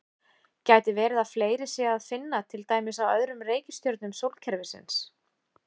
Gæti verið að fleiri sé að finna til dæmis á öðrum reikistjörnum sólkerfisins?